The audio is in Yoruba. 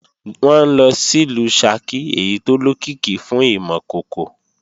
Wọn ńlọ sìlú Ṣakí èyí tó lókìkí fún ìmọ̀ kòkò